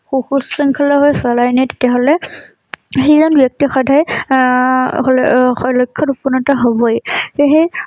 সুশৃংখল ভাবে চলাই নিয়ে তেতিয়া হলে সেইখন ব্যক্তি সদায় আহ হলে আ লক্ষ্যত উপনীত হবয়ে। সেই